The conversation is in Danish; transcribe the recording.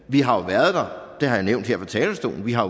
vi har jo været der det har jeg nævnt her fra talerstolen vi har